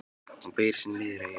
Hún beygir sig niður að eyra hans.